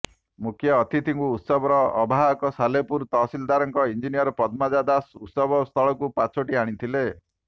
ମୁଖ୍ୟ ଅତିଥିଙ୍କୁ ଉତ୍ସବର ଆବାହକ ସାଲେପୁର ତହସିଲଦାର ଇଂ ପଦ୍ମଜା ଦାଶ ଉତ୍ସବ ସ୍ଥଳକୁ ପାଛୋଟି ଆଣିଥିଲେ